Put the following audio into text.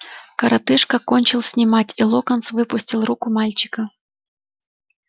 коротышка кончил снимать и локонс выпустил руку мальчика